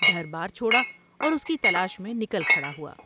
گھر بار چھوڑا اور اس کی تلاش میں نکل کھڑا ہوا ۔